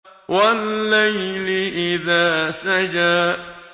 وَاللَّيْلِ إِذَا سَجَىٰ